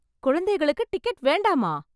குழந்தைகளுக்கு டிக்கெட் வேண்டாமா?